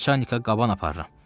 Naçanika qaban aparıram.